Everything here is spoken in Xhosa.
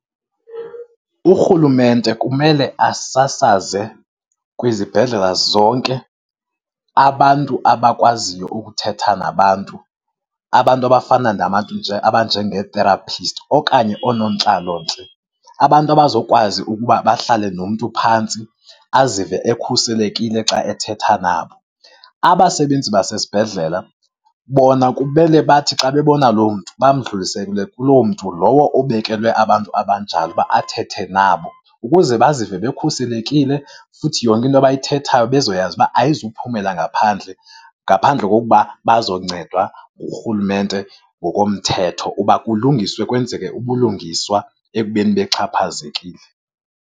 Urhulumente kumele asasaze kwizibhedlela zonke abantu abakwaziyo ukuthetha nabantu. Abantu abafana nabantu nje abanjengee-therapist okanye oonontlalontle. Abantu abazokwazi ukuba bahlale nomntu phantsi, azive ekhuselekile xa ethetha nabo. Abasebenzi basesibhedlela, bona kumele bathi xa bebona loo mntu bamdlulisele kuloo mntu lowo obekelwe abantu abanjalo uba athethe nabo ukuze bazive bekhuselekile futhi yonke into abayithethayo bezoyazi uba ayizuphumela ngaphandle. Ngaphandle kokuba bazoncedwa ngurhulumente ngokomthetho uba kulungiswe, kwenzeke ubulungiswa ekubeni bexhaphazekile.